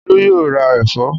Olú yóò ra ẹ̀fọ́